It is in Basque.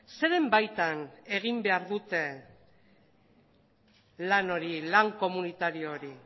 zeren baitan egin behar dute lan hori lan komunitario hori